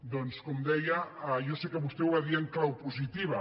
doncs com deia jo sé que vostè ho va dir en clau posi·tiva